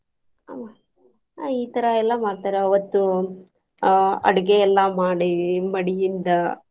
ಹ್ಮ್ ಈತರಾ ಎಲ್ಲಾ ಮಾಡ್ತಾರ ಅವತ್ತು ಆಹ್ ಅಡ್ಗಿ ಎಲ್ಲಾ ಮಾಡಿ ಮಡಿಯಿಂದ.